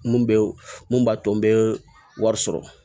Mun bɛ mun b'a to n bɛ wari sɔrɔ